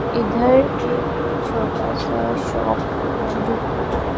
इधर एक छोटा सा शॉप है जो कि--